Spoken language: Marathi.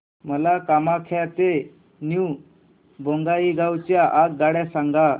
मला कामाख्या ते न्यू बोंगाईगाव च्या आगगाड्या सांगा